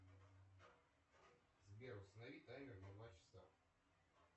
сбер установи таймер на два часа